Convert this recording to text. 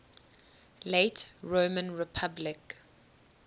late roman republic